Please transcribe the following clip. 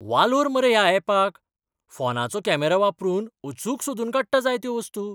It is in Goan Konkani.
वालोर मरे ह्या अॅपाक, फोनाचो कॅमेरो वापरून अचूक सोदून काडटा जाय त्यो वस्तू.